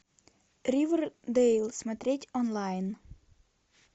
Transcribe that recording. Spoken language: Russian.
ривердейл смотреть онлайн